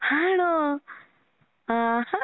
ആണോ? ആഹാ.